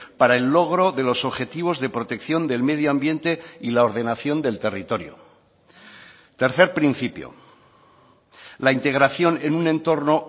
para el logro de los objetivos de protección del medio ambiente y la ordenación del territorio tercer principio la integración en un entorno